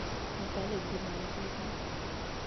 наталья геннадьевна